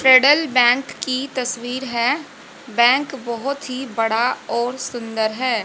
Federal Bank की तस्वीर है बैंक बहोत ही बड़ा और सुंदर है।